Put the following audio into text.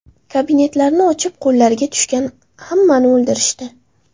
Kabinetlarni ochib, qo‘llariga tushgan hammani o‘ldirishdi.